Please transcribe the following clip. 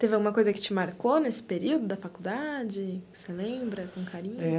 Você tem alguma coisa que marcou nesse período da faculdade, que você lembra com carinho?